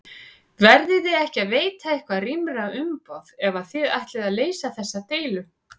Verðiði ekki að veita eitthvað rýmra umboð ef að þið ætlið að leysa þessa deilu?